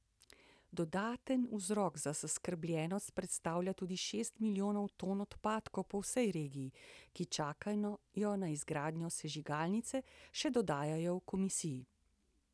Dodaten vzrok za zaskrbljenost predstavlja tudi šest milijonov ton odpadkov po vsej regiji, ki čakajo na izgradnjo sežigalnice, še dodajajo v komisiji.